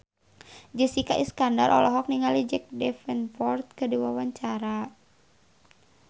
Jessica Iskandar olohok ningali Jack Davenport keur diwawancara